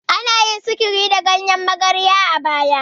Anyi maganin sihiri da ganyen magarya a baya.